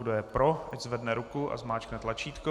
Kdo je pro, ať zvedne ruku a zmáčkne tlačítko.